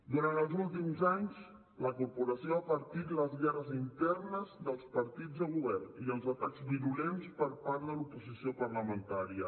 durant els últims anys la corporació ha patit les guerres internes dels partits de govern i els atacs virulents per part de l’oposició parlamentària